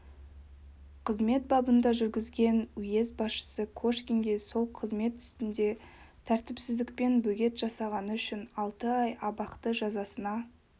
қызмет бабында жүргізген уезд басшысы кошкинге сол қызмет үстінде тәртіпсіздікпен бөгет жасағаны үшін алты ай абақты жазасына